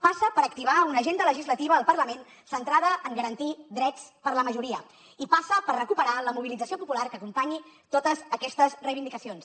passa per activar una agenda legislativa al parlament centrada en garantir drets per a la majoria i passa per recuperar la mobilització popular que acompanyi totes aquestes reivindicacions